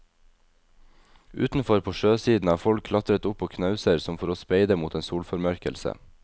Utenfor, på sjøsiden, har folk klatret opp på knauser som for å speide mot en solformørkelse.